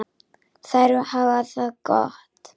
Þær hafa það gott.